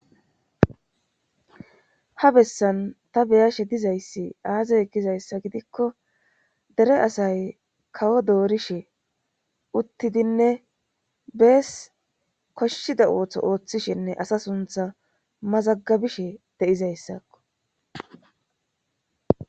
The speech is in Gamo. ha bessan ta beyashe dizayssi aazay gizayssa gidikko dere asay kawo doorishe uttidinne bees koshshida ooththo ooththishinne asa suntha mazagabishe deizayssakko